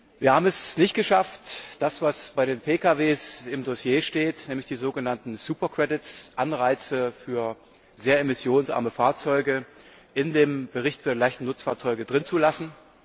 Wir haben es nicht geschafft, das, was bei den Pkw im Dossier steht, nämlich die sogenannten super credits Anreize für sehr emissionsarme Fahrzeuge in dem Bericht für leichte Nutzfahrzeuge zu belassen.